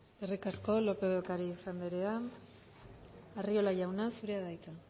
eskerrik asko lópez de ocariz anderea arriola jauna zurea da hitza